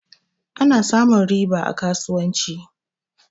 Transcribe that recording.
Ana samun riba a kasuwanci.